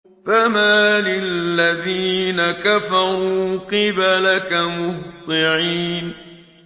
فَمَالِ الَّذِينَ كَفَرُوا قِبَلَكَ مُهْطِعِينَ